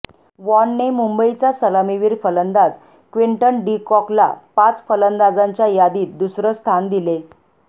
वॉनने मुंबईचा सलामीवीर फलंदाज क्विंटन डिकॉकला पाच फलंदाजांच्या यादीत दुसरं स्थान दिले